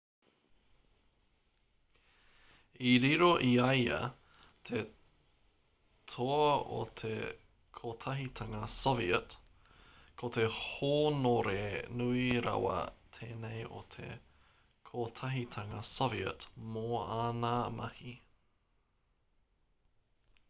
i riro i a ia te toa o te kotahitanga soviet ko te hōnore nui rawa tēnei o te kotahitanga soviet mō āna mahi